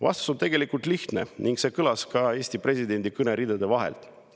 Vastus on tegelikult lihtne ning see kõlas ka Eesti presidendi kõne ridade vahelt.